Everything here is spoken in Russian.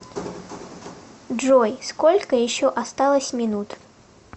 джой сколько еще осталось минут